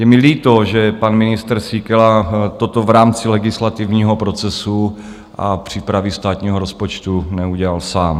Je mi líto, že pan ministr Síkela toto v rámci legislativního procesu a přípravy státního rozpočtu neudělal sám.